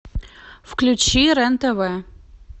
включи рен тв